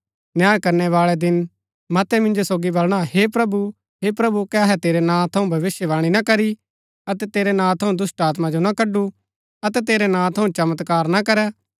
न्याय बाळै दिन मतै मिन्जो सोगी बलणा हे प्रभु हे प्रभु कै अहै तेरै नां थऊँ भविष्‍यवाणी ना करी अतै तेरै नां थऊँ दुष्‍टात्मा जो ना कड्‍डू अतै तेरै नां थऊँ चमत्कार ना करै